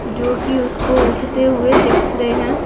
जोकि उसको उठते हुए दिख रहे हैं।